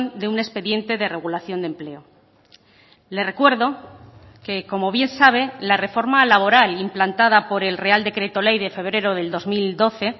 de un expediente de regulación de empleo le recuerdo que como bien sabe la reforma laboral implantada por el real decreto ley de febrero del dos mil doce